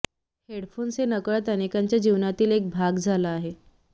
headphones हे नकळत अनेकांच्या जीवनातील एक भाग झाला आहे